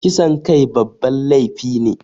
Kisan kai babban laifi ne